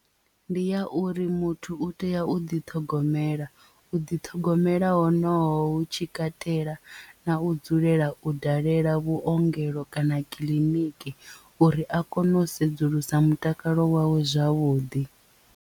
Ndi ya uri muthu u tea u ḓiṱhogomela u ḓiṱhogomela honoho hu tshi katela na u dzulela u dalela vhuongelo kana kiḽiniki uri a kone u sedzulusa mutakalo wawe zwavhuḓi.